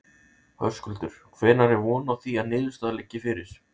Höskuldur: Hvenær er von á því að niðurstaða liggi fyrir?